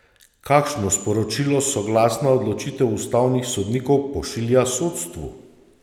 Kakšno sporočilo soglasna odločitev ustavnih sodnikov pošilja sodstvu?